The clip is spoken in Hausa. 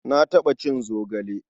Na taɓa cin zogale.